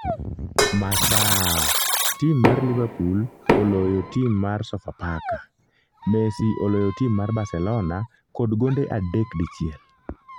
(masaa) tim mar liverpool oloyo tim mar Sofapaka ,messi oloyo tim mar barcelona kod gonde adek dichiel